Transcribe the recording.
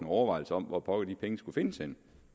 overvejelser om hvor pokker de penge skulle findes henne